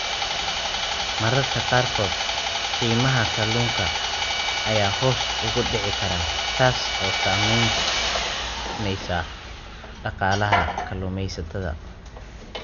Mararka qaarkood, qiimaha kalluunka ayaa hoos ugu dhici kara, taas oo saamaynaysa dhaqaalaha kalluumaysatada.